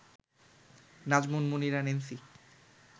Nazmun Munira Nancy